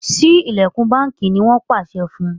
Sí ilẹkùn bánkì! ní wón pàṣẹ fún